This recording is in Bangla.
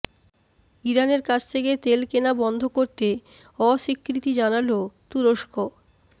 ইরানের কাছ থেকে তেল কেনা বন্ধ করতে অস্বীকৃতি জানাল তুরস্ক